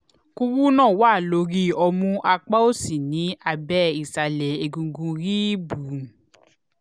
kúrúnà wà lórí ọmú apá òsì ní abẹ́ ìsàlẹ̀ egungun ríìbù